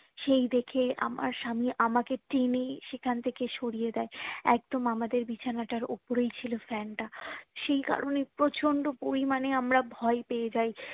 সেই দেখে আমার স্বামী আমাকে টেনে সেখান থেকে সরিয়ে দিয়ে একদম আমাদের বিছানাটার উপরেই ছিলো fan তা সেই কারণ যে প্রচন্ড পরিমানে আমরা ভয় পেয়ে যাই